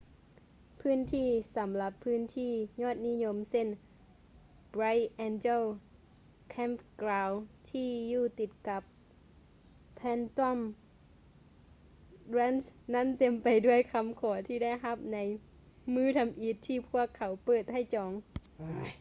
ພື້ນທີ່ສໍາລັບພຶ້ນທີ່ຍອດນິຍົມເຊັ່ນ bright angel campground ທີ່ຢູ່ຕິດກັບ phantom ranch ນັ້ນເຕັມໄປດ້ວຍຄໍາຂໍທີ່ໄດ້ຮັບໃນມື້ທໍາອິດທີ່ພວກເຂົາເປີດໃຫ້ຈອງ